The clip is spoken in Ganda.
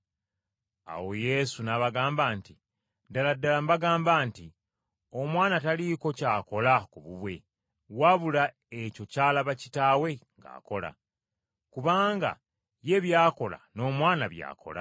Awo Yesu n’abagamba nti, “Ddala ddala mbagamba nti, Omwana taliiko ky’akola ku bubwe, wabula ekyo ky’alaba Kitaawe ng’akola. Kubanga ye by’akola n’Omwana by’akola.